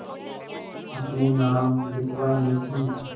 अपने नाम लिखवा ली थी